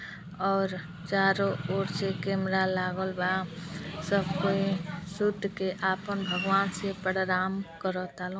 और चारों ओर से केमरा लागल बा। सब कोई सुत के आपन भगवान से पर्राम करता लो।